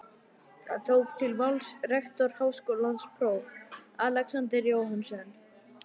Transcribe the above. Þá tók til máls rektor Háskólans próf. Alexander Jóhannesson.